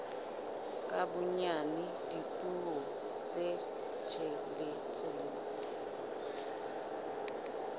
ka bonyane dipuo tse tsheletseng